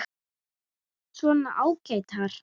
Svona ágætar.